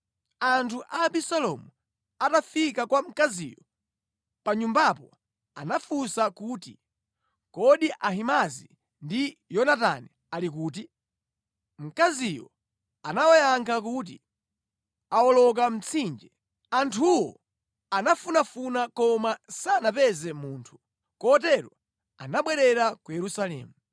Anthu a Abisalomu atafika kwa mkaziyo pa nyumbapo anafunsa kuti, “Kodi Ahimaazi ndi Yonatani ali kuti?” Mkaziyo anawayankha kuti, “Awoloka mtsinje.” Anthuwo anafunafuna koma sanapeze munthu, kotero anabwerera ku Yerusalemu.